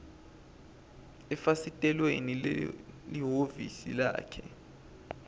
efasitelweni lelihhovisi lakhe